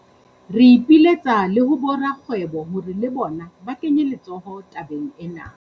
Re ipiletsa le ho borakgwebo hore le bona ba kenye letsoho tabeng ena.